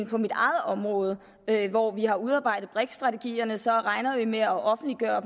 på mit eget område hvor vi har udarbejdet brik strategierne som regner vi med at offentliggøre